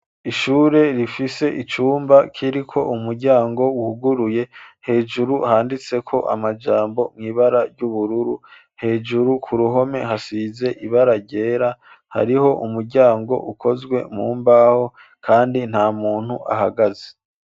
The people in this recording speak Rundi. Ishure rifise icumba kiriko umuryango wuguruye hejuru handitse ko amajambo mw’ibara ry'ubururu hejuru ku ruhome hasize ibara ryera hariho umuryango ukozwe mu mbaho kandi nta muntu ahagaze.